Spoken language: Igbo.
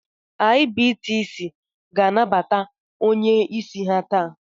IBTC ga-anabata onye isi ha taa